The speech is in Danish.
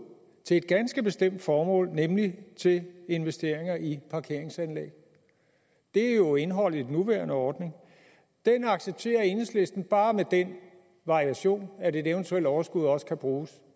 til et ganske bestemt formål nemlig til investeringer i parkeringsanlæg det er jo indholdet i den nuværende ordning den accepterer enhedslisten bare med den variation at et eventuelt overskud også kan bruges